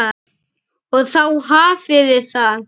Mér finnst gaman að leira.